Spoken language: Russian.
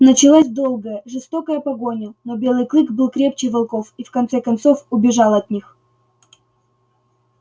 началась долгая жестокая погоня но белый клык был крепче волков и в конце концов убежал от них